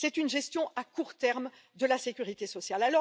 C'est une gestion à court terme de la sécurité sociale.